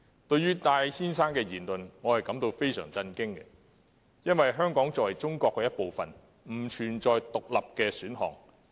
對於戴先生的言論，我感到十分震驚，因為香港作為中國一部分，並不存在"獨立"的選項。